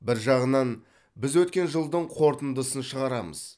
бір жағынан біз өткен жылдың қорытындысын шығарамыз